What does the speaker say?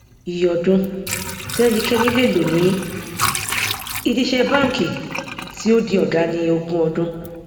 ìyè ọdún tí ẹnikẹni lè lò ní ìdí ìṣe banki tí ó di ọgá ni ogún ọdún